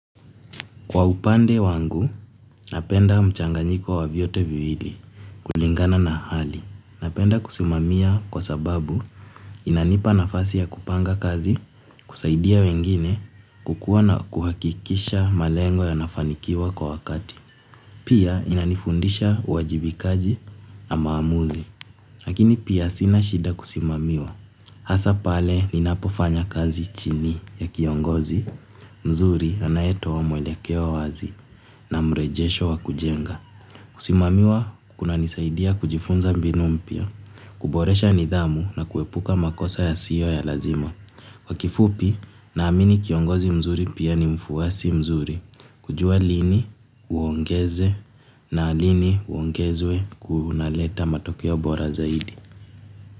Kwa upande wangu napenda mchanganyiko wa vyote viwili kulingana na hali. Napenda kusimamia kwa sababu inanipa nafasi ya kupanga kazi, kusaidia wengine, kukua na kuhakikisha malengo yanafanikiwa kwa wakati. Pia inanifundisha uajibikaji na maamuzi, lakini pia sina shida kusimamiwa. Hasa pale ninapofanya kazi chini ya kiongozi mzuri anayetoa mwelekeo wazi na mrejesho wa kujenga kusimamiwa kunanisaidia kujifunza mbinu mpya, kuboresha nidhamu na kuepuka makosa yasiyo ya lazima. Kwa kifupi naamini kiongozi mzuri pia ni mfuasi mzuri, kujua lini uongeze na lini uongezwe kunaleta matokeo bora zaidi.